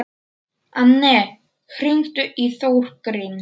Anne, hringdu í Þórgrím.